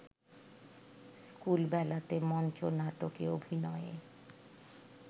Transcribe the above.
স্কুলবেলাতে মঞ্চ নাটকে অভিনয়ে